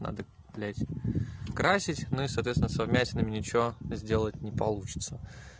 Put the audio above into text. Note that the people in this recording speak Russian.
надо блядь красить ну и соответственно со вмятинами ничего сделать не получится